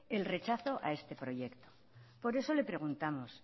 el rechazo a este proyecto por eso le preguntamos